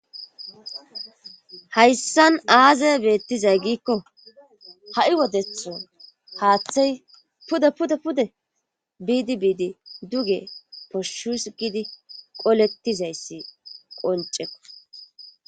Hayssan aaze beettizay giikko ha7i wodetho haaththey pude pude pude biidi biidi duge poshshus gidi qoletizayssi qoncekko.